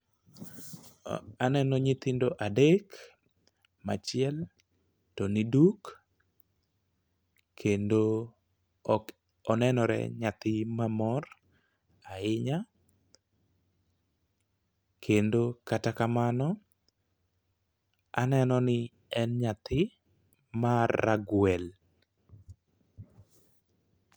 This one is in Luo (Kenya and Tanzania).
Aneno nyithindo adek machiel to ni duk kendo ok onenore nyathi mamor ahinya kendo kata kamano , aneno ni en nyathi mar ragwel.